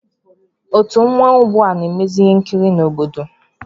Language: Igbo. Otu mmanwụ bụ na-emezị ihe nkiri n'obodo